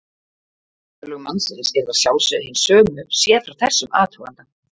Örlög mannsins yrðu að sjálfsögðu hin sömu séð frá þessum athuganda.